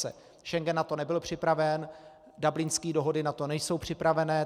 Schengen na to nebyl připraven, Dublinské dohody na to nejsou připravené.